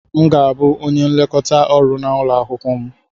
M ga-abụ onye nlekọta ọrụ na ulo akwukwo m.